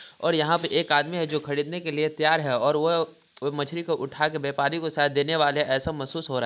और यहाँ पे एक आदमी है जो खरीदने के लिए तैयार है और वह वो मछली को उठाके व्यापारी को शायद देने वाले हैं ऐसा महसूस हो रहा है।